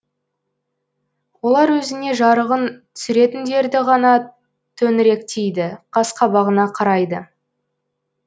олар өзіне жарығын түсіретіндерді ғана төңіректейді қас қабағына қарайды